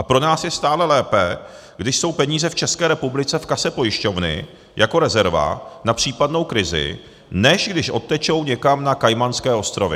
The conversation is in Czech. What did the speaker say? A pro nás je stále lépe, když jsou peníze v České republice v kase pojišťovny jako rezerva na případnou krizi, než když odtečou někam na Kajmanské ostrovy.